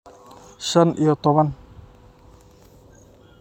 Shan iyo toban.